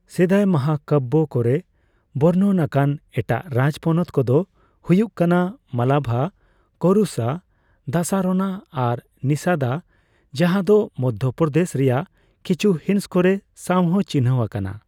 ᱥᱮᱫᱟᱭ ᱢᱟᱦᱟᱠᱟᱵᱽᱵᱚ ᱠᱚᱨᱮ ᱵᱚᱨᱱᱚᱱ ᱟᱠᱟᱱ ᱮᱴᱟᱜ ᱨᱟᱡᱽᱯᱚᱱᱚᱛ ᱠᱚᱫᱚ ᱦᱩᱭᱩᱜ ᱠᱟᱱᱟ ᱢᱟᱞᱟᱵᱷᱟ, ᱠᱚᱨᱩᱥᱟ, ᱫᱟᱥᱟᱨᱚᱱᱟ ᱟᱨ ᱱᱤᱥᱟᱫᱟ ᱡᱟᱦᱟᱸ ᱫᱚ ᱢᱚᱫᱽᱫᱷᱚ ᱯᱨᱚᱫᱮᱥ ᱨᱮᱭᱟᱜ ᱠᱤᱪᱷᱩᱠ ᱦᱤᱸᱥ ᱠᱚᱨᱮ ᱥᱟᱣᱦᱚᱸ ᱪᱤᱱᱦᱟᱹᱣ ᱟᱠᱟᱱᱟ ᱾